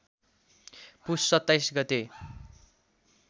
पुस २७ गते